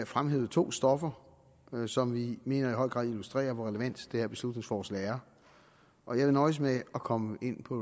fremhævet to stoffer som vi mener i høj grad illustrerer hvor relevant det her beslutningsforslag er og jeg vil nøjes med at komme ind på